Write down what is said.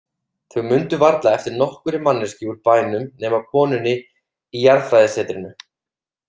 Þau mundu varla eftir nokkurri manneskju úr bænum nema konunni í jarðfræðisetrinu.